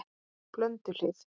Blönduhlíð